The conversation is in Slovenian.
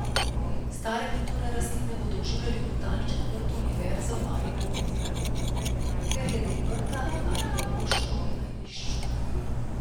Stare kulturne rastline bodo oživljali v botaničnem vrtu Univerze v Mariboru Pivola, ker je del vrta na arheološkem najdišču.